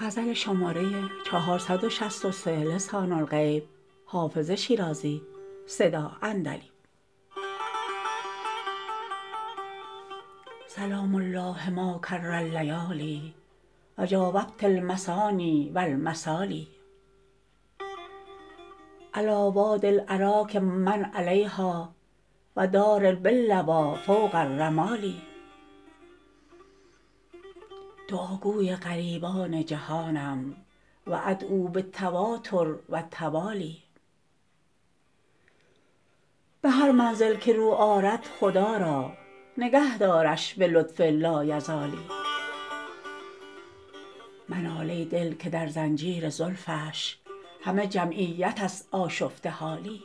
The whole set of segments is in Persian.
سلام الله ما کر اللیالی و جاوبت المثاني و المثالي علیٰ وادي الأراک و من علیها و دار باللویٰ فوق الرمال دعاگوی غریبان جهانم و أدعو بالتواتر و التوالي به هر منزل که رو آرد خدا را نگه دارش به لطف لایزالی منال ای دل که در زنجیر زلفش همه جمعیت است آشفته حالی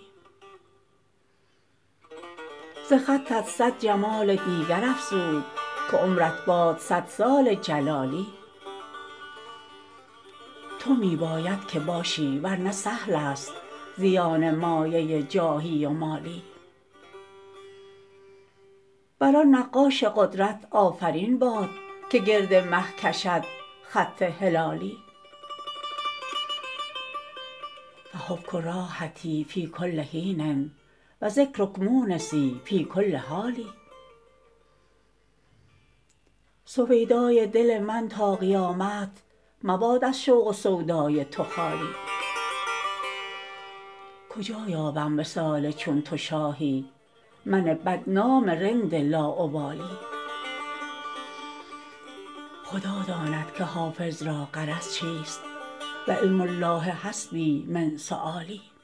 ز خطت صد جمال دیگر افزود که عمرت باد صد سال جلالی تو می باید که باشی ور نه سهل است زیان مایه جاهی و مالی بر آن نقاش قدرت آفرین باد که گرد مه کشد خط هلالی فحبک راحتی فی کل حین و ذکرک مونسی فی کل حال سویدای دل من تا قیامت مباد از شوق و سودای تو خالی کجا یابم وصال چون تو شاهی من بدنام رند لاابالی خدا داند که حافظ را غرض چیست و علم الله حسبي من سؤالي